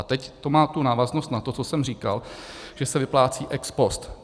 A teď to má tu návaznost na to, co jsem říkal, že se vyplácí ex post.